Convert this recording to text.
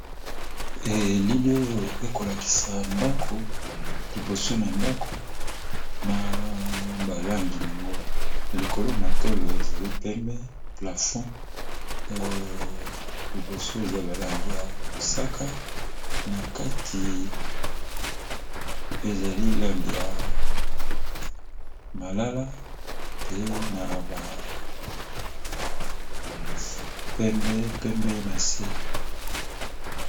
Elili oyo ekolakisa ndako liboso na ndako na balangi yango, likolo matolo ezali pembe plafond liboso eza balangi ya mosaka na kati ezali lange ya malala mpe na pembe na se.